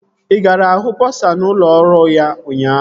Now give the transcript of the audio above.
Ị gara hụ bọsa n'ụlọ ọrụ ya ụnyaahụ?